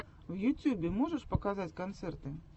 в ютьюбе можешь показать концерты